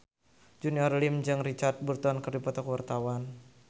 Junior Liem jeung Richard Burton keur dipoto ku wartawan